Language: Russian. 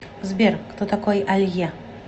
сбер кто такой алье